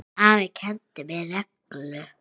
Afi kenndi mér reglu.